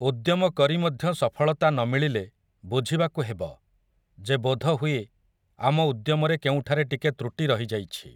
ଉଦ୍ୟମ କରି ମଧ୍ୟ ସଫଳତା ନ ମିଳିଲେ ବୁଝିବାକୁ ହେବ, ଯେ ବୋଧହୁଏ ଆମ ଉଦ୍ୟମରେ କେଉଁଠାରେ ଟିକେ ତୃଟି ରହିଯାଇଛି ।